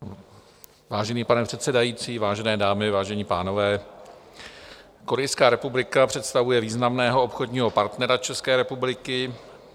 Vážený pane předsedající, vážené dámy, vážení pánové, Korejská republika představuje významného obchodního partnera České republiky.